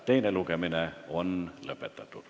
Teine lugemine on lõppenud.